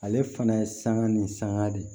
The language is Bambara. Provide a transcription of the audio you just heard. Ale fana ye sanga ni sanga de